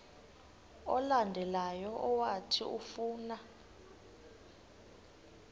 olandelayo owathi ufuna